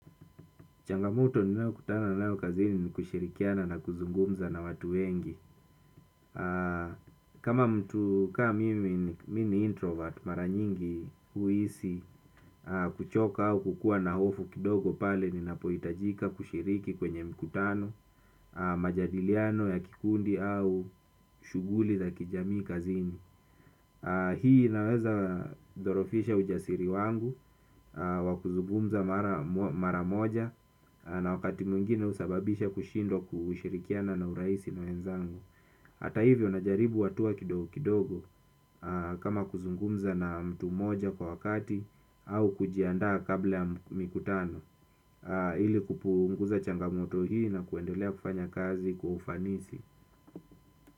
Changamoto ninao kutana nao kazini ni kushirikiana na kuzungumza na watu wengi. Kama mtu kama mimi ni introvert mara nyingi huhisi kuchoka au kukua na hofu kidogo pale ninapoitajika kushiriki kwenye mkutano. Majadiliano ya kikundi au shughuli za kijamii kazini hii naweza dorofisha ujasiri wangu, wakuzungumza mara moja. Na wakati mwingine husababisha kushindwa kushirikiana na uraisi na wenzangu. Hata hivyo najaribu hatua kidogo kidogo kama kuzungumza na mtu moja kwa wakati. Au kujiandaa kabla ya mikutano ili kupunguza changamoto hii na kuendelea kufanya kazi kwa ufanisi.